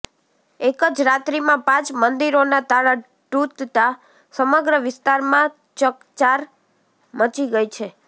એક જ રાત્રિમાં પાંચ મંદિરોના તાળાં તૂટતાં સમગ્ર વિસ્તારમાં ચકચાર મચી ગઈ છે